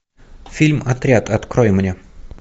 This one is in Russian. фильм отряд открой мне